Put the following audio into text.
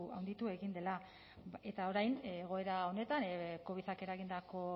handitu egin dela eta orain egoera honetan covidak eragindako